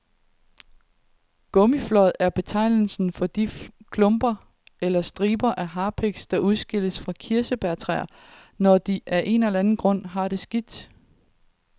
Gummiflåd er betegnelsen for de klumper eller striber af harpiks, der udskilles fra kirsebærtræer, når de af en eller anden grund har det skidt.